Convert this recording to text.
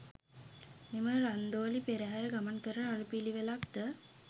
මෙම රන්දෝලි පෙරහර ගමන් කරන අනුපිළිවෙලක් ද